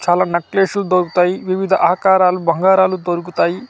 చాలా నక్లేస్ లు దొరుకుతాయి వివిద ఆకరాలు బంగారాలు దొరుకుతాయి--